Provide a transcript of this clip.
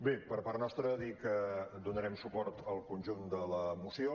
bé per part nostra dir que donarem suport al conjunt de la moció